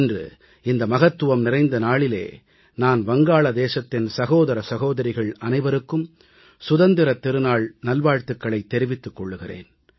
இன்று இந்த மகத்துவம் நிறைந்த நாளிலே நான் வங்காளதேசத்தின் சகோதர சகோதரிகள் அனைவருக்கும் சுதந்திரத் திருநாள் நல்வாழ்த்துக்களைத் தெரிவித்துக் கொள்கிறேன்